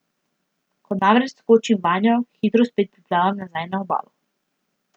Ko namreč skočim vanjo, hitro spet priplavam nazaj na obalo.